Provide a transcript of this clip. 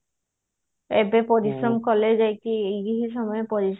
ଏବେ ପରିଶ୍ରମ କଲେ ଯାଇକି ହିଁ ପରିଶ୍ରମ